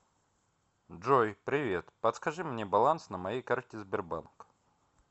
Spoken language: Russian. джой привет подскажи мне баланс на моей карте сбербанк